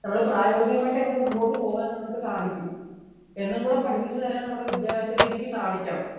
പ്രയോഗികമായിട്ട് എങ്ങനെ മുന്നോട്ടു പോവാൻ സാധിക്കും എന്നും കൂടി പഠിപ്പിച്ചു താരം നമ്മുടെ വിദ്യാഭ്യാസ രീതിക്ക് സാധിക്കണം